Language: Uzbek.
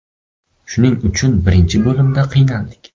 Shuning uchun birinchi bo‘limda qiynaldik.